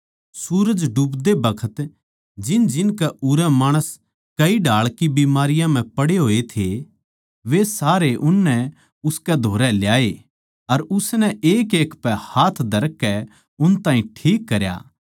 सूरज डूबदे बखत जिनजिनकै उरै माणस कई ढाळ की बीमारियाँ म्ह पड़े होए थे वे सारे उननै उसकै धोरै ल्याए अर उसनै एकएक पै हाथ धरकै उन ताहीं ठीक करया